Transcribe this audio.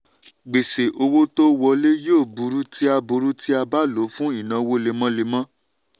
gbèsè owó tó wọlé yóò burú tí a burú tí a bá lò fún ìnáwó lemọ́lemọ́.